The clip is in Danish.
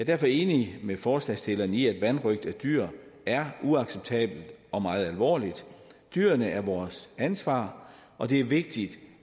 derfor enig med forslagsstillerne i at vanrøgt af dyr er uacceptabelt og meget alvorligt dyrene er vores ansvar og det er vigtigt